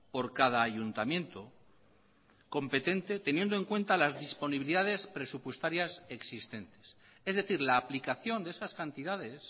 por cada ayuntamiento competente teniendo en cuenta las disponibilidades presupuestarias existentes es decir la aplicación de esas cantidades